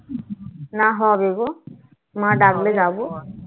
না হবে না হবে গো মা ডাকবে যাবো